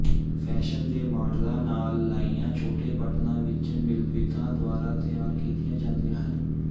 fashion ਦੇ ਮਾਡਲਾਂ ਨਾਲ ਲਾਈਨਾਂ ਛੋਟੇ ਬਟਣਾਂ ਵਿੱਚ ਮਿਲਵਿੱਤਾ ਦੁਆਰਾ ਤਿਆਰ ਕੀਤੀਆਂ ਜਾਂਦੀਆਂ ਹਨ